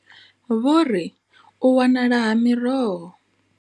Vho ri, U wanala ha miroho.